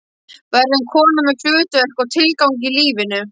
Verður kona með hlutverk og tilgang í lífinu.